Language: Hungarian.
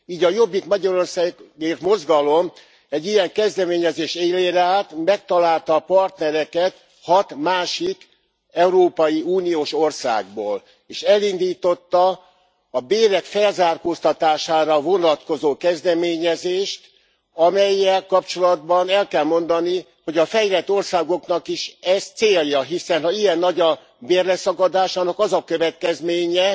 Így a Jobbik Magyarországért Mozgalom egy ilyen kezdeményezés élére állt, megtalálta a partnereket hat másik európai uniós országból, és elindította a bérek felzárkóztatására vonatkozó kezdeményezést, amellyel kapcsolatban el kell mondani, hogy a fejlett országoknak is ez célja, hiszen ha ilyen nagy a bérleszakadás, annak az a következménye,